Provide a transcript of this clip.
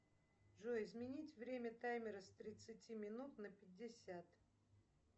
джой изменить время таймера с тридцати минут на пятьдесят